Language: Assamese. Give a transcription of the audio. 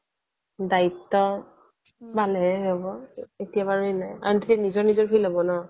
দায়িত্ব ভাল হে হব একেবাৰেই নাই নিজৰ নিজৰ feel হ'ব ন'